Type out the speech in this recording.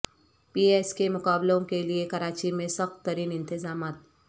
پی S کے مقابلوں کیلئے کراچی میں سخت ترین انتظامات